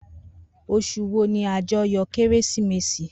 Osùn wo ni ajoyọ kérésìmesì?